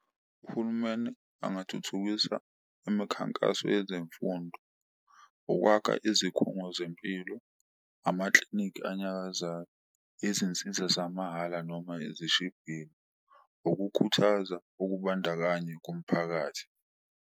Uhulumeni angathuthukisa imkhankaso yezemfundo, ukwakha izikhungo zempilo, amaklinikhi anyakazayo, izinsiza zamahhala noma ezishibhile, ukukhuthaza ukubandakanya komphakathi.